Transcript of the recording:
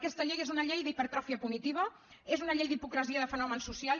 aquesta llei és una llei d’hipertròfia punitiva és una llei d’hipocresia de fenòmens socials